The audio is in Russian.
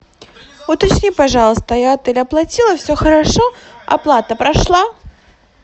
уточни пожалуйста я отель оплатила все хорошо оплата прошла